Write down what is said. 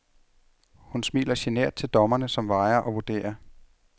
Hun smiler genert til dommerne, som vejer og vurderer.